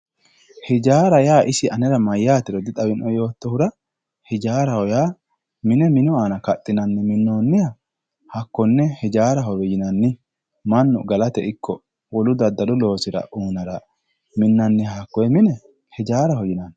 hijaaraho yaa isi mayyaatero anera di xawinoe yoottohura hijaaraho yaa mine minu aana kaxxinanni minnoonniha hakkonne hijaarahowe yinannimannu galate ikko wolu daddalu loosira uyiinara minnanniha hakkonne mine hijaaraho yinanni.